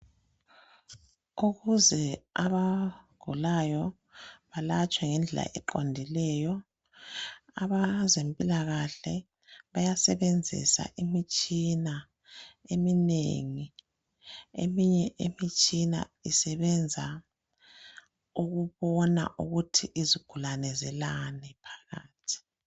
Ukuze abagulayo balatshwe ngendlela eqondileyo abezempilakahle bayasebenzisa imitshina eminengi eminye imitshina isebenza ukubona ukuthi izigulane zilani phakathi.